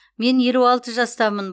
мен елу алты жастамын